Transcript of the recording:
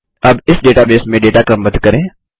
अब इस डेटाबेस में डेटा क्रमबद्ध करें